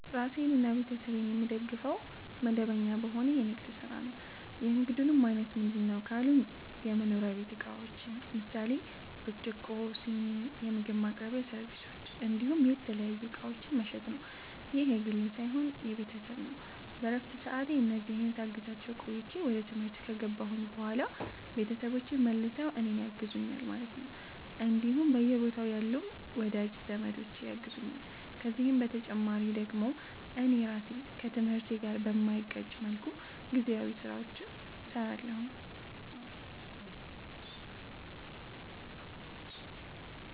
ራሴንና ቤተሰቤን የምደግፈዉ፦ መደበኛ በሆነ የንግድ ስራ ነዉ። የንግዱም አይነት ምንድነዉ ካሉኝ የመኖሪያ ቤት እቃዎችን ምሳሌ፦ ብርጭቆ, ስኒ, የምግብ ማቅረቢያ ሰርቪሶች እንዲሁም የተለያዩ እቃዎችን መሸጥ ነዉ። ይህ የግሌ ሳይሆን የቤተሰብ ነዉ በረፍት ሰዓቴ እነዚህን ሳግዛቸዉ ቆይቼ ወደ ትምህርት ከገባሁኝ በኋላ ቤተሰቦቼ መልሰዉ እኔን ያግዙኛል ማለት ነዉ እንዲሁም በየቦታዉ ያሉም ወዳጅ ዘመዶቼ ያግዙኛል ከዚህ በተጨማሪ ደግሞ እኔ ራሴ ከትምህርቴ ጋር በማይጋጭ መልኩ ጊዜያዊ ስራዎችንም ሰራለሁኝ